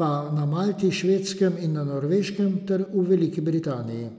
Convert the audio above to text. pa na Malti, Švedskem in na Norveškem ter v Veliki Britaniji.